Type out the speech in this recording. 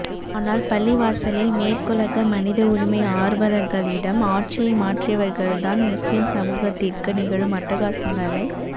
ஆனால் பள்ளிவாசலில் மேற்குலக மனித உரிமை ஆர்வலர்களிடம் ஆட்சியை மாற்றியவர்கள்தான் முஸ்லிம் சமூகத்திற்கு நிகழும் அட்டகாசங்களை